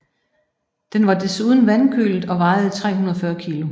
Den var desuden vandkølet og vejede 340 kg